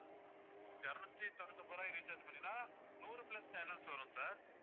இருநூத்து தொண்ணுத்து ஒன்பது ரூபாய்க்கு recharge பண்ணிக்கிட்டீங்கன்னா நூறு plus channels வரும் sir